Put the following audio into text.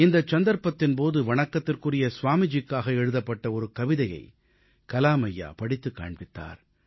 இந்தச் சந்தர்ப்பத்தின் போது வணக்கத்துக்குரிய ஸ்வாமிஜிக்காக எழுதப்பட்ட ஒரு கவிதையை கலாம் ஐயா படித்துக் காண்பித்தார்